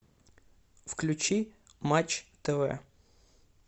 включи матч тв